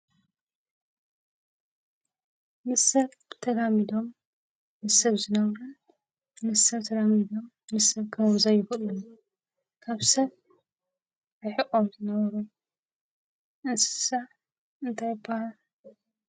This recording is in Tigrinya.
ምስ ሰብ ተላሚዶም ምስ ሰብ ዝነብሩ ምስ ሰብ ተላሚዶም ምስ ሰብ ክነብሩ ዘይክእሉን ካብ ሰብ ርሒቆም ዝነብሩ እንስሳ እንታይ ይበሃሉ?